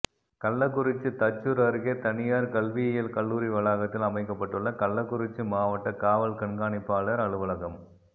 கள்ளக்குறிச்சி தச்சூா் அருகே தனியாா் கல்வியியல் கல்லூரி வளாகத்தில் அமைக்கப்பட்டுள்ள கள்ளக்குறிச்சி மாவட்ட காவல் கண்காணிப்பாளா் அலுவலகம்